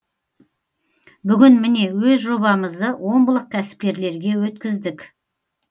бүгін міне өз жобамызды омбылық кәсіпкерлерге өткіздік